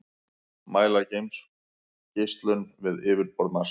mæla geimgeislun við yfirborð mars